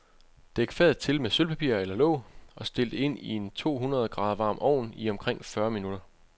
Dæk fadet til med sølvpapir eller låg, og stil det ind i en tohundrede grader varm ovn i omkring fyrre minutter.